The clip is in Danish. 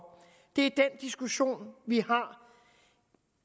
det er den diskussion vi har